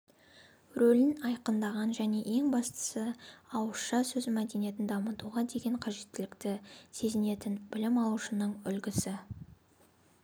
рөлін айқындаған және ең бастысы ауызша сөз мәдениетін дамытуға деген қажеттілікті сезінетін білім алушының үлгісі